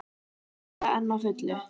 Júlía enn á fullu.